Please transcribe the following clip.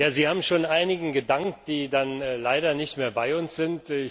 Sie haben schon einigen gedankt, die leider nicht mehr bei uns sind.